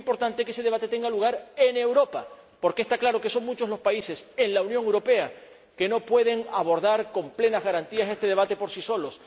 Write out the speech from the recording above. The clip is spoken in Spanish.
Es muy importante que ese debate tenga lugar en Europa, porque está claro que son muchos los países en la Unión Europea que no pueden abordar con plenas garantías este debate por sí solos.